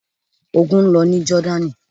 Ogun ń lọ ní Jọ́dánì.